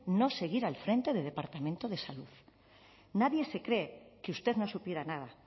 no seguir al frente del departamento de salud nadie se cree que usted no supiera nada